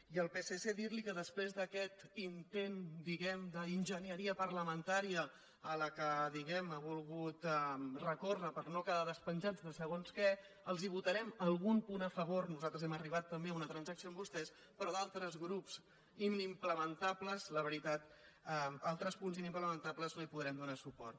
i al psc dir·li que després d’aquest intent di·guem·ne d’enginyeria parlamentària a la qual ha vol·gut recórrer per no quedar despenjat de segons què els votarem algun punt a favor nosaltres hem arribat també a una transacció amb vostès però a d’altres punts inimplementables no hi podrem donar suport